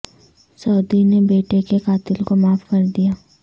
سعودی نے بیٹے کے قاتل کو معاف کر دیا